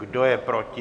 Kdo je proti?